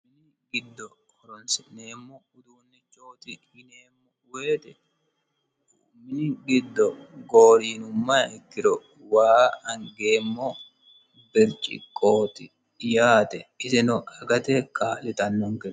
mini giddo horonsi'neemmo uduunnichooti yineemmo woyete mini giddo gooriinummaha ikkiro waa angeemmo bircikqooti yaate isino agate kaa'litannonke.